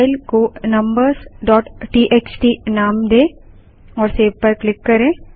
file को numbers txt नाम दें और सेव पर क्लिक करें